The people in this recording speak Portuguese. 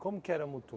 Como que era Mutum?